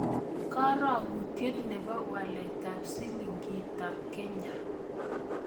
Karogutiet ne po waletap silingiitap Kenya